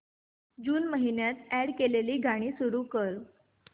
जून महिन्यात अॅड केलेली गाणी सुरू कर